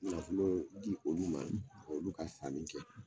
Nafolo di olu ma olu ka sanni kɛ